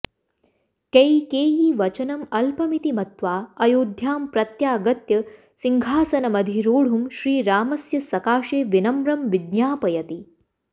कैकेयीवचनम् अल्पमिति मत्वा अयोध्यां प्रत्यागत्य सिंहासनमधिरोढुं श्रीरामस्य सकाशे विनम्रं विज्ञापयति